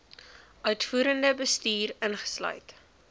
uitvoerende bestuur insluit